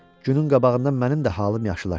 Günün qabağından mənim də halım yaşıllaşır.